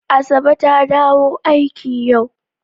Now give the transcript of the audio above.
Asabe ta dawo aiki yau.